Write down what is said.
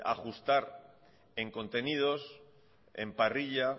ajustar en contenidos en parrilla